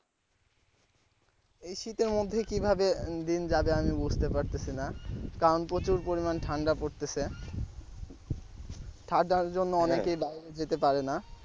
এই শীতের মধ্যে কিভাবে দিন যাবে আমি বুঝতে পারতেছি না কারণ প্রচুর পরিমাণ ঠান্ডা পড়তেছে ঠান্ডার জন্য অনেকে বাইরে যেতে পারে না।